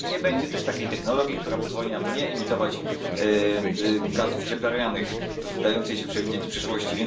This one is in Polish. I nie będzie też takiej technologii, która pozwoli nam nie emitować gazów cieplarnianych w dającej się przewidzieć przyszłości